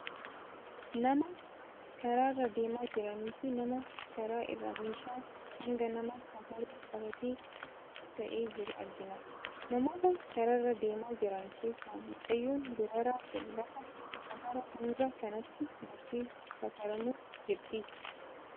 nama karaarra deemaa jiranii fi nama karaa irra meeshaa hanga namaa safaru qabatee taa'ee jiru argina . namoota karaarra deemaa jiran keessa mucayyoon dubaraa kun lafa safara hangaa kanatti gortee safaramuuf jirti.